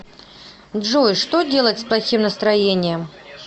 джой что делать с плохим настроением